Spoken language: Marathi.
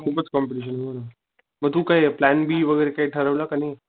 खूपच कॉम्पिटिशन हो ना मग तू काय प्लॅन बी वैगरे काय ठरवलं कि नाही.